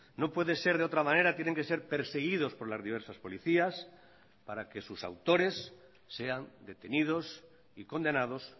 no puede ser de otra manera tienen que ser perseguidos por las diversas policías para que sus autores sean detenidos y condenados